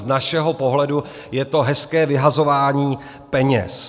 Z našeho pohledu je to hezké vyhazování peněz.